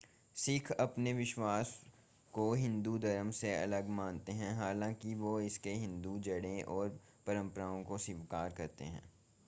सिख अपने विश्वास को हिंदू धर्म से अलग मानते हैं हालांकि वे इसकी हिंदू जड़ों और परंपराओं को स्वीकार करते हैं